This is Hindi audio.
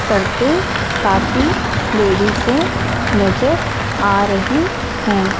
करते काफी लेडी से नजर आ रही हैं।